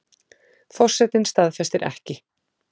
Forsetinn staðfestir ekki